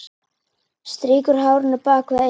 Strýkur hárinu bak við eyrað.